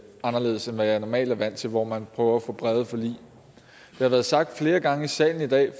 anderledes end hvad jeg normalt er vant til hvor man prøver at få brede forlig det har været sagt flere gange i salen i dag